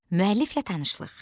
Müəlliflə tanışlıq.